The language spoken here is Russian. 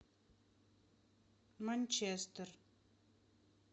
манчестер